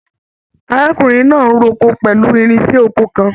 Arákùnrin náà n r'oko pẹlú irinṣẹ́ oko kàn.